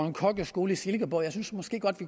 en kokkeskole i silkeborg jeg synes måske godt at